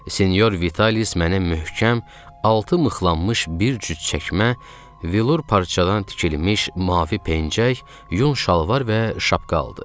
Sinyor Vitalis mənə möhkəm, altı mıxlanmış bir cüt çəkmə, vilur parçadan tikilmiş mavi pencək, yun şalvar və şapka aldı.